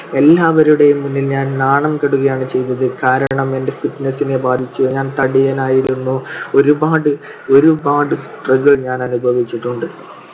എല്ലാവരുടെയും മുൻപിൽ ഞാൻ നാണം കെടുകയാണ് ചെയ്‌തത്‌. കാരണം എന്റെ fitness നെ ബാധിച്ചു. ഞാൻ തടിയനായിരുന്നു. ഒരുപാട് ഒരുപാട് struggle ഞാൻ അനുഭവിച്ചിട്ടുണ്ട്.